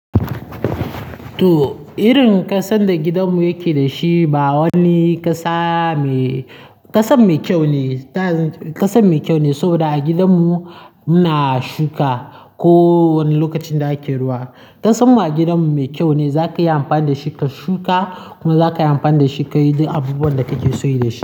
To, irin ƙasan da gidanmu yake da shi ba wani ƙasan mai kyau ne, ƙasan mai kyau ne saboda a gidanmu muna shuka ko wani lokacin da ake ruwa. Ƙasanmu a gidanmu mai kyau ne, za ka iya amfani da shi ka shuka kuma za ka iya amfani da shi ka yi duk abubuwan da kake son yi da shi.